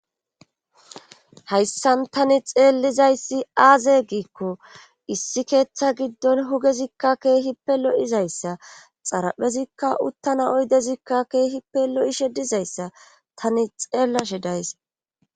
hayssan tani xeellizayssi aaze giikko issi keeththa giddon hugezikka keehi pe lo7izayssa xaraphezikka uttana oydezikka keehi pe lo7ishe dizayssa tani xeellashe days